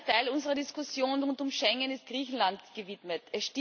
Ein wesentlicher Teil unserer Diskussion rund um Schengen ist Griechenland gewidmet.